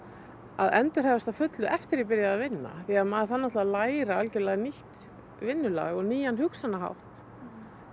að endurhæfast að fullu eftir að ég byrjaði að vinna því maður þarf náttúrulega að læra algjörlega nýtt vinnulag og nýjan hugsunarhátt